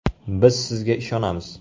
Biz sizga ishonamiz!